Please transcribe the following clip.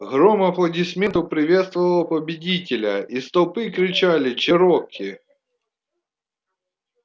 гром аплодисментов приветствовал победителя из толпы кричали чероки